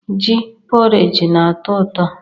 Ji poreji na-atọ ụtọ.